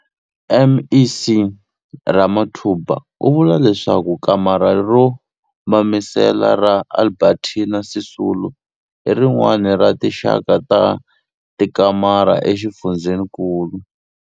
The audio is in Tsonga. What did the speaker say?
MEC Ramathuba u vula leswaku kamara ro Mamisela ra Albertina Sisulu i rin'wana ra tinxaka ta tikamara exifundzenikulu.